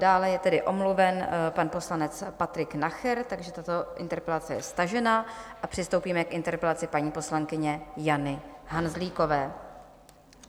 Dále je tedy omluven pan poslanec Patrik Nacher, takže tato interpelace je stažena, a přistoupíme k interpelaci paní poslankyně Jany Hanzlíkové.